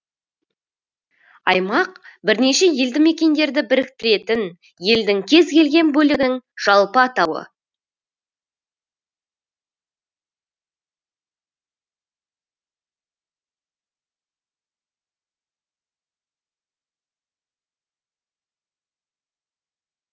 аймақ бірнеше елді мекендерді біріктіретін елдің кез келген бөлігінің жалпы атауы